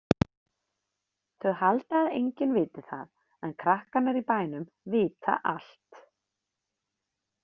Þau halda að enginn viti það en krakkarnir í bænum vita allt.